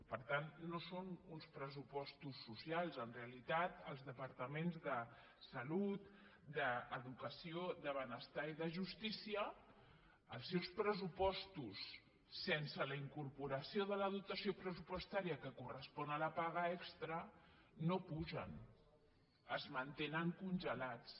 per tant no són uns pressupostos socials en realitat als departaments de salut d’educació de benestar i de justícia els seus pressupostos sense la incorporació de la dotació pressupostària que corres·pon a la paga extra no pugen es mantenen congelats